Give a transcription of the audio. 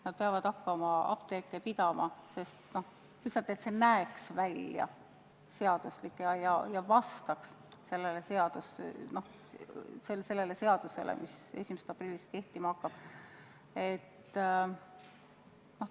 Nad peavad hakkama apteeke pidama lihtsalt selleks, et see näeks välja seaduslik ja et see vastaks seadusele, mis 1. aprillil kehtima hakkab.